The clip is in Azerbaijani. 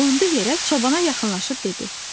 Qondu yerə, çobana yaxınlaşıb dedi: